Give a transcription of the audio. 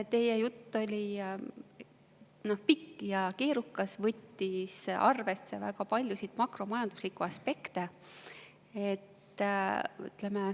Teie jutt oli pikk ja keerukas, te võtsite arvesse väga paljusid makromajanduslikke aspekte.